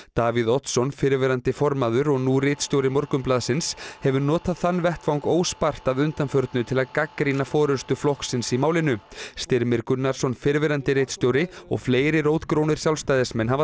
Davíð Oddsson fyrrverandi formaður og nú ritstjóri Morgunblaðsins hefur notað þann vettvang óspart að undanförnu til að gagnrýna forystu flokksins í málinu Styrmir Gunnarsson fyrrverandi ritstjóri og fleiri rótgrónir Sjálfstæðismenn hafa